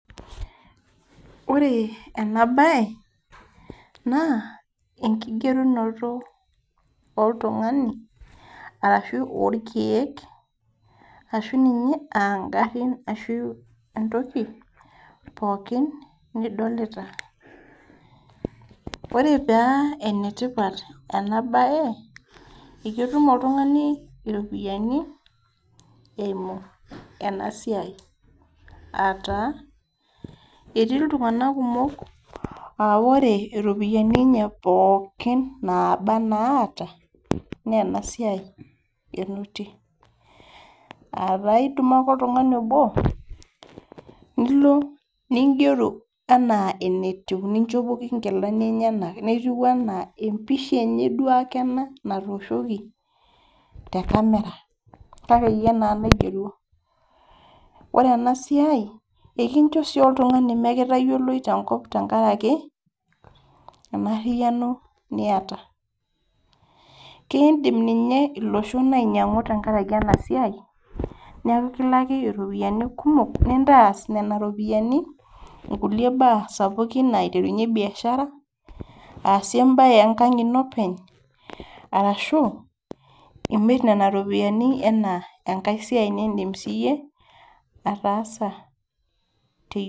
Ore enabae, naa enkigerunoto oltung'ani, arashu orkeek, ashu ninye agarrin ashu entoki pookin, nidolita. Ore pa enetipat enabae, eketum oltung'ani iropiyiani, eimu enasiai. Ataa, etii iltung'anak kumok ah ore iropiyiani enye pookin naba naata, nenasiai enotie. Ataa idumu ake oltung'ani obo, nilo nigeru enaa enetiu ninchopoki nkilani enyanak, netiu enaa empisha enye duo ake ena natooshoki, te camera. Kake yie naa naigeruo. Ore enasiai, ekincho si oltung'ani mekitayioloi tenkop tenkaraki, enarriyiano niata. Kidim ninye iloshon ainyang'u tenkaraki enasiai, neku kilaki iropiyiani kumok, nintas nena ropiyiani kulie baa sapukin aiterunye biashara, asie ebae enkang ino openy, ashu, imir nena ropiyiani enaa enkai siai nidim si yie, ataasa.